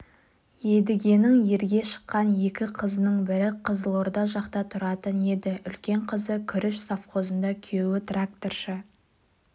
едігенің ерге шыққан екі қызының бірі қызылорда жақта тұратын еді үлкен қызы күріш совхозында күйеуі тракторшы